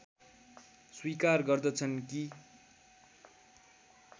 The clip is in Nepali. स्वीकार गर्दछन् कि